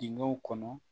Dingɛw kɔnɔ